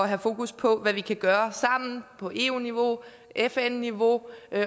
have fokus på hvad vi kan gøre sammen på eu niveau på fn niveau